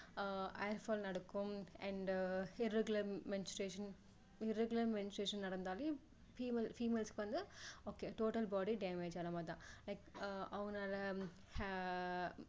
ஆஹ் hairfall நடக்கும் and irregular menstruation irregular menstruation நடந்தாலே female~females க்கு வந்து okay total body damage ஆன மாதிரி தான் like அவங்கனால ஆஹ்